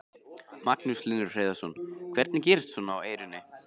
Magnús Hlynur Hreiðarsson: Hvernig gerist svona á Eyrinni?